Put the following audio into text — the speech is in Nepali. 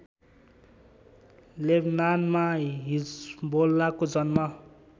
लेबनानमा हिज्बोल्लाको जन्म